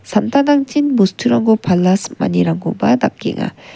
samtangtangchin bosturangko pala simanirangkoba dakenga.